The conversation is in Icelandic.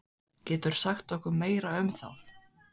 Geturðu sagt okkur meira um það?